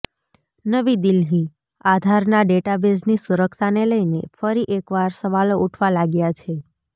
નવી દિલ્હીઃ આધારના ડેટાબેઝની સુરક્ષાને લઈને ફરી એકવાર સવાલો ઉઠવા લાગ્યા છે